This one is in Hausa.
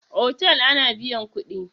Otal ana biyan kuɗi.